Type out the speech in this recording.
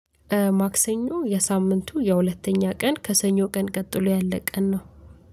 ማክሰኞ የሳምንቱ የሁለተኛ ቀን ከሰኞ ቀን ቀጥሎ ያለ ቀን ነው